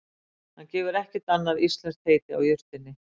Hann gefur ekkert annað íslenskt heiti á jurtinni.